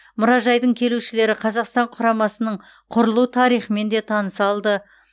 мұражайдың келушілері қазақстан құрамасының құрылу тарихымен де таныса алды